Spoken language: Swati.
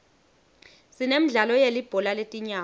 sinemidlalo yelibhola letinyawo